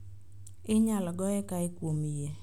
Inyal goye kae kuom yie